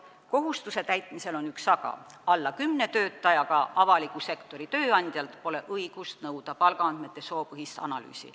Kohustuse täitmisel on üks aga: alla kümne töötajaga avaliku sektori tööandjalt pole õigust nõuda palgaandmete soopõhist analüüsi.